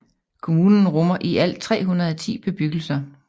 Kommunen rummer i alt 310 bebyggelser